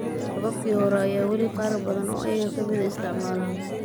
Hababkii hore ayaa weli qaar badan oo iyaga ka mid ah isticmaalaan.